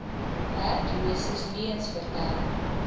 werkloses leuens vertel